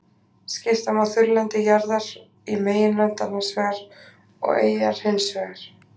Skipta má þurrlendi jarðar í meginlönd annars vegar og eyjar hins vegar.